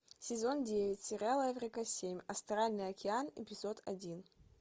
сезон девять сериала эврика семь астральный океан эпизод один